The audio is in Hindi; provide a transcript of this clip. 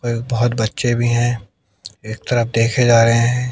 बहोत बच्चे भी हैं एक तरफ देखे जा रहे हैं।